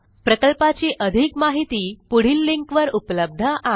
प्रकल्पाची अधिक माहिती पुढील लिंकवर उपलब्ध आहे